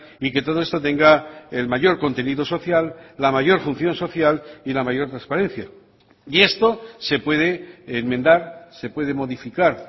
y que todo esto tenga el mayor contenido social la mayor función social y la mayor transparencia y esto se puede enmendar se puede modificar